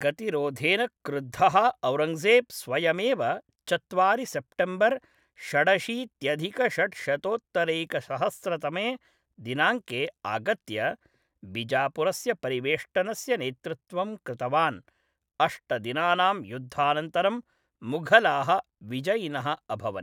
गतिरोधेन क्रुद्धः औरङ्गजेब् स्वयमेव चत्वारि सेप्टेम्बर् षडशीत्यधिकषड्शतोत्तरैकशस्रतमे दिनाङ्के आगत्य, बिजापुरस्य परिवेष्टनस्य नेतृत्वं कृतवान्, अष्टदिनानां युद्धानन्तरं मुघलाः विजयिनः अभवन्।